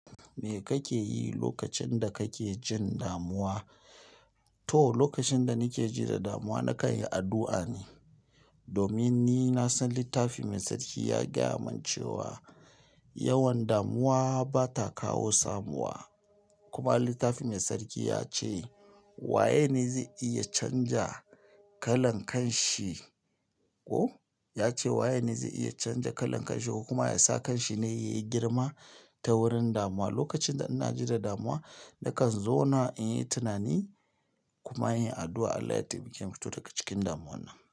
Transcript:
Me kake yi lokacin da kake jin damuwa? To, lokacin da nake ji da damuwa, na kan yi addu'a ne. Domin ni na san littafi Mai Tsarki ya gaya min cewa yawan damuwa ba ta kawo samuwa. Kuma littafi Mai Tsarki ya ce waye ne zai iya canja kalan kanshi, oh, ya ce waye ne zai iya canja kalan kanshi ko kuma ya sa kanshi ne ya yi girma ta wurin damuwa. Lokacin da ina ji da damuwa, na kan zauna in yi tunani kuma in yi addu'a Allah ya taimake ni fito daga cikin damuwan nan.